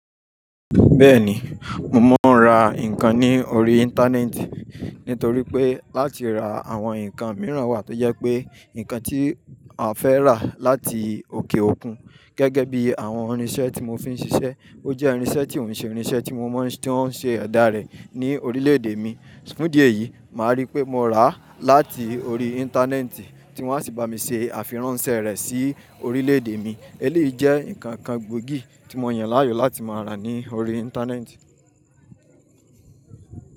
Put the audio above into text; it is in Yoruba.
Bẹ́ẹ̀ni, mo máa ń ra nǹkan ní orí Íńtánẹ́ẹ̀tì nítorí pé láti ra àwọn nǹkan mìíràn wà tó jẹ pé nǹkan tí a fẹ́ rà láti òkè òkun gẹ́gẹ́ bí àwọn irinsẹ́ tí mo fi ń ṣiṣẹ́. Ó jẹ́ irinsẹ́ tí òun se irinsẹ́ tí ó ń se ẹ̀dá rẹ̀ ní orílè-èdè mi. Fun ìdí yìí, màá rí pé mo rà á láti orí Íńtánẹ́ẹ̀tì tí wọ́n á sì bá mi ṣe àfiràn n sẹ́ rẹ̀ sí orílè èdè mi. Eléyìí jẹ́ nǹkan gbòógì tí mo yàn láàyò láti máa rà ní orí Íńtánẹ́ẹ̀tì.